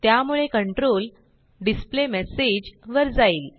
त्यामुळे control display message वर जाईल